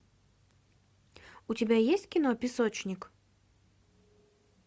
у тебя есть кино песочник